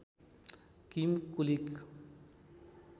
किम कुलिग